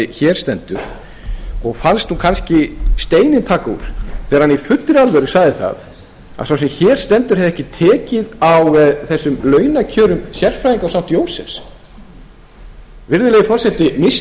hér stendur og fannst nú kannski steininn taka úr þegar hann í fullri alvöru sagði að sá sem hér stendur hefði ekki tekið á þessum launakjörum sérfræðinga á st jósefsspítala virðulegur forseti missti ég af einhverju